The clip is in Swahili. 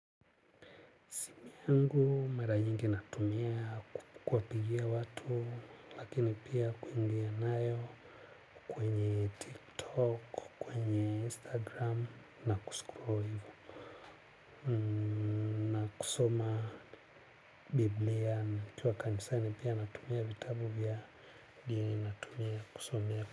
Yangu mara nyingi natumia kuwapigia watu lakini pia kuingia nayo kwenye Tiktok, kwenye Instagram na kuscroll hivyo. Na kusoma Biblia nikiwa kanisani pia natumia vitabu vya dini natumia kusomea.